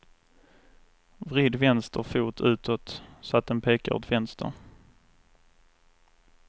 Vrid vänster fot utåt så att den pekar åt vänster.